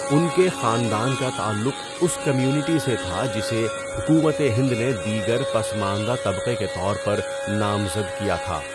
ان کے خاندان کا تعلق اس کمیونٹی سے تھا جسے حکومت ہند نے دیگر پسماندہ طبقے کے طور پر نامزد کیا تھا۔